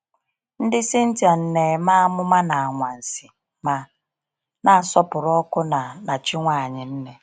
Ndị Scythian na-eme amụma na anwansi ma na-asọpụrụ ọkụ na na chi nwanyị nne.